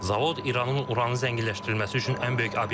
Zavod İranın uranı zənginləşdirilməsi üçün ən böyük obyektidir.